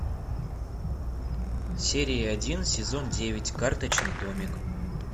серия один сезон девять карточный домик